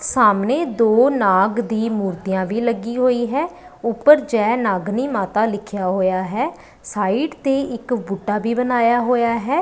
ਸਾਹਮਣੇ ਦੋ ਨਾਗ ਦੀ ਮੂਰਤੀਆਂ ਵੀ ਲੱਗੀ ਹੋਈ ਹੈ ਉਪਰ ਜੈ ਨਾਗਨੀ ਮਾਤਾ ਲਿੱਖਿਆ ਹੋਇਆ ਹੈ ਸਾਈਡ ਤੇ ਇੱਕ ਬੁੱਢਾ ਵੀ ਬਨਾਇਆ ਹੋਇਆ ਹੈ।